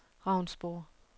Ravnsborg